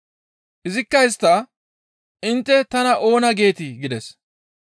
Izikka istta, «Intte tana oona geetii?» gides.